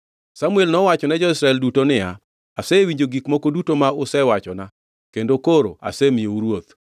Samuel nowachone jo-Israel duto niya, “Asewinjo gik moko duto ma usewachona kendo koro asemiyou ruoth.